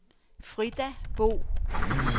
Frida Bro